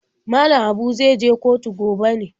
Mallam Habu zai je kotu gobe ne?